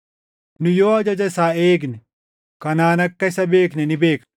Nu yoo ajaja isaa eegne, kanaan akka isa beekne ni beekna.